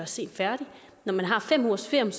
sent færdig når man har fem ugers ferie